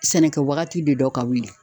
Sɛnɛkɛ wagati de dɔn ka wuli